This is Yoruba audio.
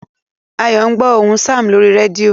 Ayo ń gbó ohùn Sam lórí rédíò